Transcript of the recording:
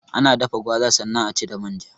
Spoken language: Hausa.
Ana dafa gwaza sannan aci da manja